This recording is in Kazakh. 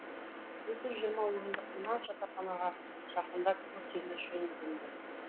екі жүз жиырма орындық мына жатахана жақында күрделі жөнделді